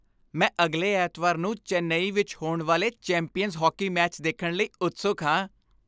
ਮੈਂ ਅਗਲੇ ਐਤਵਾਰ ਨੂੰ ਚੇਨਈ ਵਿੱਚ ਹੋਣ ਵਾਲੇ ਚੈਂਪੀਅਨਜ਼ ਹਾਕੀ ਮੈਚ ਦੇਖਣ ਲਈ ਉਤਸੁਕ ਹਾਂ।